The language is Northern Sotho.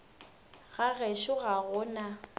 ga gešo ga go na